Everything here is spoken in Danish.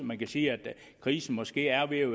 man kan sige at krisen måske er ved at